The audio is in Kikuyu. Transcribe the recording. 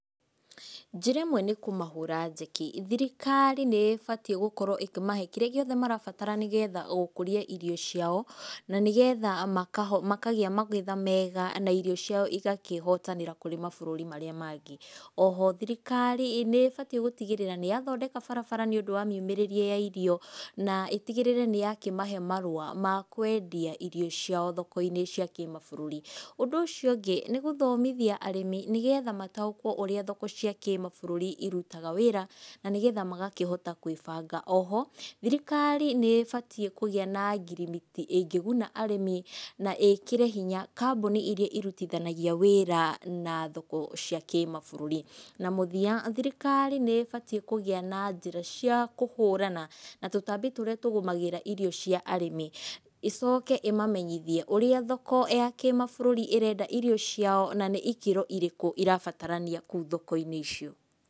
Njĩra ĩmwe nĩ kũmahũra njeki, thirikari nĩ ĩbatiĩ gũkorwo ĩkĩmahe kĩrĩa gĩothe marabatara nĩgetha gũkũria irio ciao na nĩgetha makaho makagĩa magetha mega, na irio ciao igakĩhotanĩra kũrĩ mabũrũri marĩa mangĩ, oho thirikari nĩ ĩbatiĩ gũtigĩrĩra nĩ yathondeka barabara nĩũndũ wa miumĩrĩrie ya irio na ĩtigĩrĩre nĩ yakĩmahe marũa makwendia irio ciao thoko-inĩ cia kĩmabũrũri, ũndũ ũcio ũngĩ, nĩ gũthomithia arĩmi nĩgetha mataũkuo ũrĩa thoko cia kĩmabũrũri irutaga wĩra, na nĩgetha magakĩhotaga gwĩbanga, oho, thirikari nĩ ĩbatiĩ kũgĩa na ngirimiti ĩngĩguna arĩmi, na ĩkĩre hinya kambuni iria irutithanagĩa wĩra na thoko cia kĩmabũrũri, na mũthiya thirikari nĩ ĩbatiĩ kũgĩa na njĩra cia kũhũrana na tũtambi tũrĩa tũgũmagĩra irio cia arĩmi, ĩcoke ĩmamenyithie ũrĩa thoko ya kĩmabũrũri ĩrenda irio ciao na nĩ ikĩro irĩkũ irabatarania kũu thoko-inĩ icio.